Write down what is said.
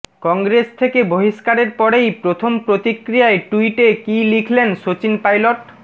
কংগ্রেস থেকে বহিষ্কারের পরেই প্রথম প্রতিক্রিয়ায় টুইটে কী লিখেলেন সচিন পাইলট